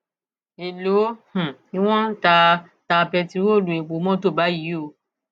èèló um ni wọn ń ta ta bẹntiróòlù epo mọtò báyìí o